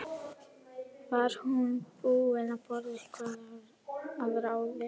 Var hún búin að borða eitthvað að ráði?